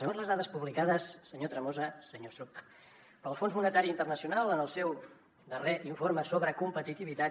segons les dades publicades senyor tremosa senyor estruch pel fons monetari internacional en el seu darrer informe sobre competitivitat